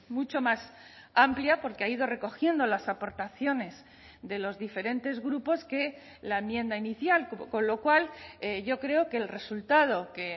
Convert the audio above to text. mucho más amplia porque ha ido recogiendo las aportaciones de los diferentes grupos que la enmienda inicial con lo cual yo creo que el resultado que